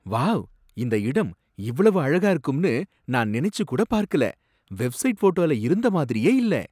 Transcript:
Wow! இந்த இடம் இவ்வளவு அழகா இருக்கும்னு நான் நினைச்சு கூட பார்க்கல. வெப்சைட் ஃபோட்டோல இருந்த மாதிரியே இல்ல.